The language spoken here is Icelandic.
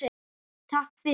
Takk fyrir